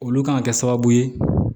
Olu kan ka kɛ sababu ye